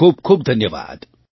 ખૂબ ખૂબ ધન્યવાદ